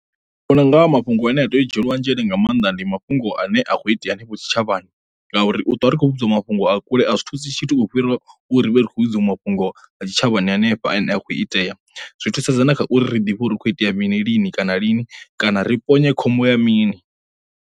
Ndi vhona unga ha mafhungo ane a tea u dzhielwa nzhele nga mannḓa ndi mafhungo ane a khou itea hanefho tshitshavhani, ngauri u ṱwa ri khou vhudziwa mafhungo a kule a zwi thusa tshithu u fhirisa u ri vhe ri khou vhidziwe mafhungo ha tshitshavhani hanefha ane a khou itea, zwi thusedza na kha uri ri ḓivhe uri hu kho itea mini lini kana lini kana ri ponye khombo ya mini.